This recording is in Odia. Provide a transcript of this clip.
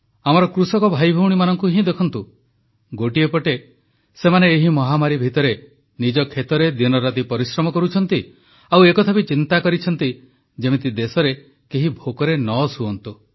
ଆମର କୃଷକ ଭାଇଭଉଣୀମାନଙ୍କୁ ହିଁ ଦେଖନ୍ତୁ ଗୋଟିଏ ପଟେ ସେମାନେ ଏହି ମହାମାରୀ ଭିତରେ ନିଜ କ୍ଷେତରେ ଦିନରାତି ପରିଶ୍ରମ କରୁଛନ୍ତି ଆଉ ଏକଥା ବି ଚିନ୍ତା କରିଛନ୍ତି ଯେମିତି ଦେଶରେ କେହି ଭୋକରେ ନ ଶୁଅନ୍ତୁ